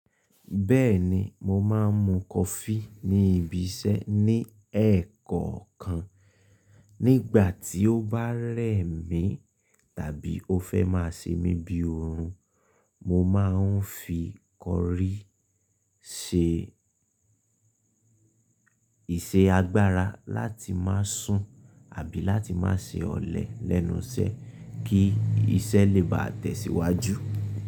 Bẹ́ẹ̀ni mo máa ń mu coffee ní ibi iṣẹ́ ní ẹ̀ẹ̀kọ̀okan. Nígbà tí ó bá rẹ̀ mí tàbí ó fẹ́ máa ṣe mí bí oorun, mo máa ń fi coffee ṣe ìṣe agbára láti máa sùn àbí láti máa ṣe ọ̀lẹ lẹ́nu iṣẹ́ kí iṣẹ́ lè bá tẹ̀síwájú.